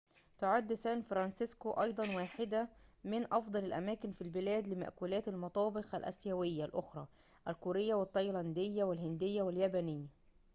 تعد سان فرانسيسكو أيضاً واحدة من أفضل الأماكن في البلاد لمأكولات المطابخ الآسيوية الأخرى الكورية والتايلاندية والهندية واليابانية